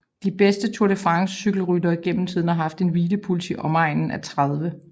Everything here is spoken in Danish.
De bedste Tour de France cykelryttere gennem tiden har haft en hvilepuls i omegnen af 30